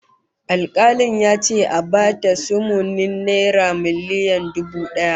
Alkalin ya ce a ba ta sumunin naira miliyan dubu daya